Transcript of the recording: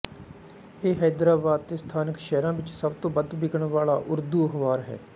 ਇਹ ਹੈਦਰਾਬਾਦ ਅਤੇ ਸਥਾਨਕ ਸ਼ਹਿਰਾਂ ਵਿੱਚ ਸਭ ਤੋਂ ਵੱਧ ਵਿਕਣ ਵਾਲਾ ਉਰਦੂ ਅਖ਼ਬਾਰ ਹੈ